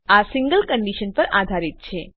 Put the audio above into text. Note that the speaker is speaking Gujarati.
આ સિંગલ કંડીશન પર આધારિત છે